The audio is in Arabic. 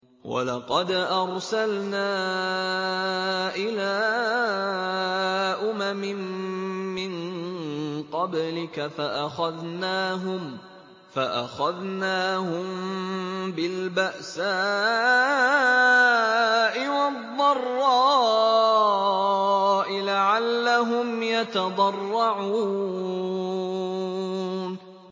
وَلَقَدْ أَرْسَلْنَا إِلَىٰ أُمَمٍ مِّن قَبْلِكَ فَأَخَذْنَاهُم بِالْبَأْسَاءِ وَالضَّرَّاءِ لَعَلَّهُمْ يَتَضَرَّعُونَ